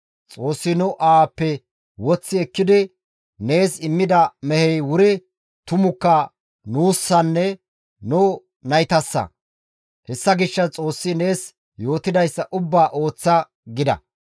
Xoossi nu aawappe woththi ekkidi nees immida mehey wuri tumukka nuussanne nu naytayssa; hessa gishshas Xoossi nees yootidayssa ubbaa ooththa» gida.